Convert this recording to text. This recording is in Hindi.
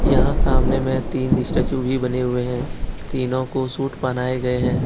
यहां सामने में तीन स्टैचू भी बने हुए हैं तीनों को सूट बनाए गए हैं।